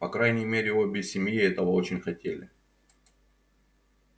по крайней мере обе семьи этого очень хотели